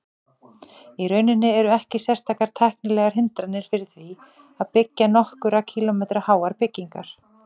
Í rauninni eru ekki sérstakar tæknilegar hindranir fyrir því að byggja nokkurra kílómetra háar byggingar.